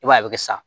I b'a ye a bɛ sa